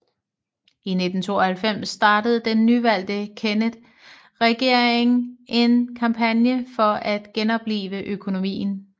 I 1992 startede den nyvalgte Kennett regering en kampagne for at genoplive økonomien